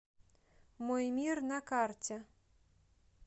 мой мир на карте